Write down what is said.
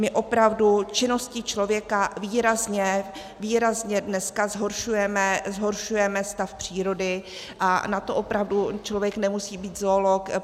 My opravdu činností člověka výrazně dneska zhoršujeme stav přírody a na to opravdu člověk nemusí být zoolog.